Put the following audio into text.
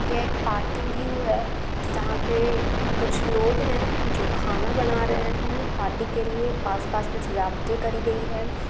यह एक party view है। जहाँ पे कुछ लोग है । जो खाना बना रहे है पार्टी के लिए आस पास में सजावटे करी गई है।